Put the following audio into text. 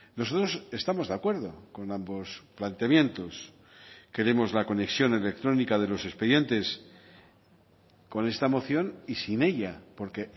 nosotros estamos de acuerdo con ambos planteamientos queremos la conexión electrónica de los expedientes con esta moción y sin ella porque